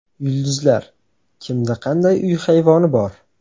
Yulduzlar: kimda qanday uy hayvoni bor?